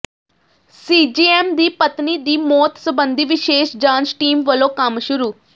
CJM ਦੀ ਪਤਨੀ ਦੀ ਮੌਤ ਸਬੰਧੀ ਵਿਸ਼ੇਸ਼ ਜਾਂਚ ਟੀਮ ਵੱਲੋਂ ਕੰਮ ਸ਼ੁਰੂ